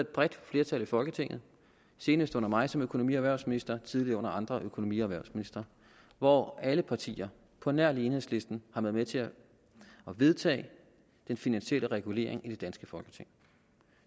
bredt flertal i folketinget senest under mig som økonomi og erhvervsminister tidligere under andre økonomi og erhvervsministre hvor alle partier på nær enhedslisten har været med til at vedtage den finansielle regulering i det danske folketing